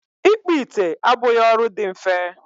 ịkpụ ite abụghị ọrụ dị mfe